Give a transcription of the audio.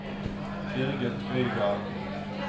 Birgit Øygarden